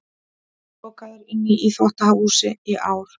Lokaður inni í þvottahúsi í ár